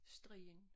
Strien